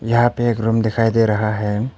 यहां पे एक रूम दिखाई दे रहा है।